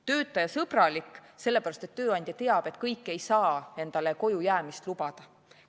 Töötajasõbralik on ta sellepärast, et tööandja teab, et kõik ei saa endale koju jäämist lubada.